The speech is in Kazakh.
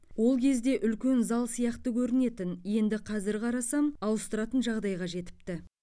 ол кезде үлкен зал сияқты көрінетін енді қазір қарасам ауыстыратын жағдайға жетіпті